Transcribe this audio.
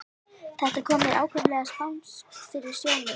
Þetta kom mér ákaflega spánskt fyrir sjónir.